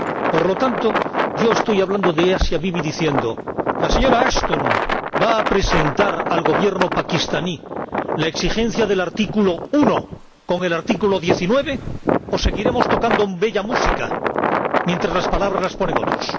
Por lo tanto, yo estoy hablando de Asia Bibi diciendo ¿la señora Ashton va a presentar al Gobierno pakistaní la exigencia del artículo 1 con el artículo 19, o seguiremos tocando bella música mientras las palabras las ponen otros?